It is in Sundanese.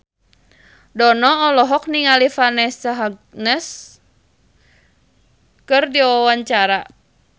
Dono olohok ningali Vanessa Hudgens keur diwawancara